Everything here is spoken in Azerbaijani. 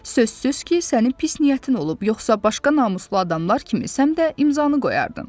Sözsüz ki, sənin pis niyyətin olub, yoxsa başqa namuslu adamlar kimi sən də imzanı qoyardın.